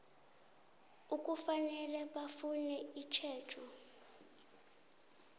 ekufanele bafune itjhejo